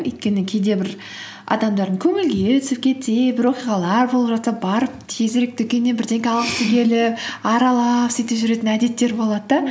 өйткені кейде бір адамдардың көңіл күйі түсіп кетсе бір оқиғалар болып жатса барып тезірек дүкеннен бірдеңе алғысы келіп аралап сөйтіп жүретін әдеттері болады да